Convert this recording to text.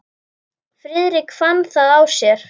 Friðrik fann það á sér.